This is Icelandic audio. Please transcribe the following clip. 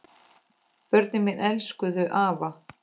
Börnin mín elskuðu afa.